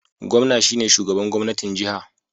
Gwamna shine shugaban gwamnatin jiha